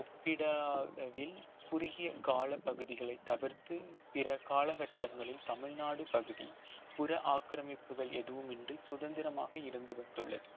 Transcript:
ஒப்பிடா அளவில் குறுகிய கால பகுதிகளை தவிர்த்து பிற காலகட்டங்களில் தமிழ்நாடு பகுதி புற ஆக்கிரமிப்புகள் எதுவுமின்றி சுதந்திரமாக இருந்து வந்துள்ளது